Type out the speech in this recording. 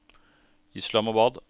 Islamabad